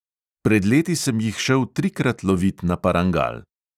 Pred leti sem jih šel trikrat lovit na parangal.